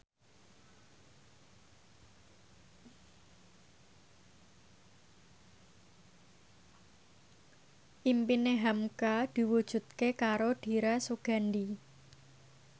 impine hamka diwujudke karo Dira Sugandi